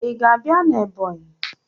Ị ga-abịa na Ebọnyị?